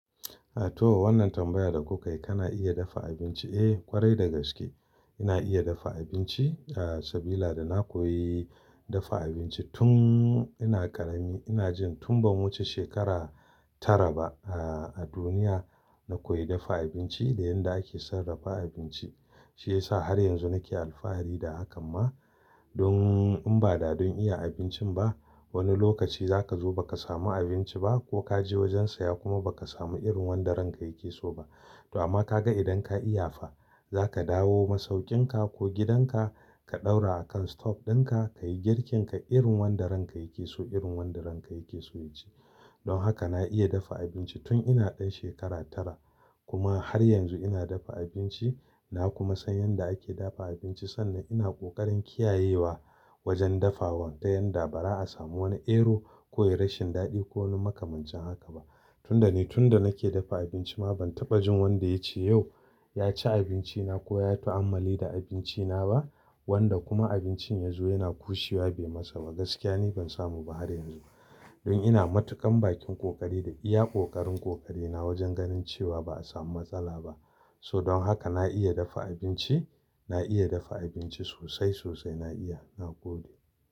A to wannan tambayar da kuka yi, kana iya dafa abinci? Eh ƙwarai da gaske ina iya dafa abinci sabila da na koyi dafa abinci tun ina ƙarami. Ina jin tun bamuce shekara tara ba a duniya na koyi dafa abinci da yadda ake sarrafa abinci. Shi ya sa har yanzu nake alfahari da hakan ma don in ba da don iya abincin ba wani lokaci za ka zo ba ka samu abinci ba ko ka je wajen saya kuma ba ka samu irin wanda ranka yake so ba. To amma ka ga idan ka iya fa za ka dawo masaukin ka ko gidan ka, ka ɗaura a kan stove din ka, ka yi girkin ka irin wanda ranka yake so irin wanda ranka yake so ya ci. Don haka na iya dafa abinci tun ina ɗan shekara tara kuma har yanzu ina dafa abinci. Na kuma san yadda ake dafa abinci sanda ina ƙoƙarin kiyayewa wajen dafa wan ta yanda ba za asamu wani ero ko rashin daɗi ko wani makamancin haka ba. Tunda ni tunda nake dafa abinci ma ban taɓa jin wanda ya ce yau ya ci abinci na ko ya yi ta'ammali da abinci na ba wanda kuma abincin yazo yana ƙushiwa bai masa ba. Gaskiya ni ban samu ba har yanzu. Don ina matukan bakin ƙoƙari da iya ƙoƙarin ƙoƙari na wajen ganin cewa ba a samu matsala ba. So don haka na iya dafa abinci, na iya dafa abinci sosai sosai na iya, na gode.